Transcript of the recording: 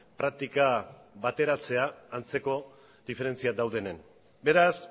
praktika bateratzera antzeko diferentziak daudenean beraz